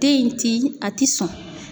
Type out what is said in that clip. Den in ti a ti sɔn.